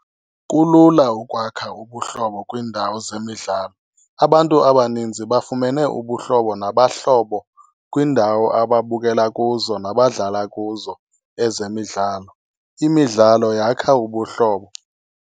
Kulula ukwakha ubuhlobo kwiindawo zemidlalo, abantu abaninzi bafumene ubuhlobo nabahlobo kwiindawo ababukela kuzo nabadlala kuzo ezemidlalo, imidlalo yakha ubuhlobo.